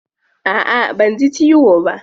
A'a banji ciwo ba.